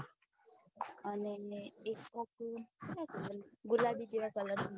અને ને એક કોક ગુલાબી જેવા colour વાળો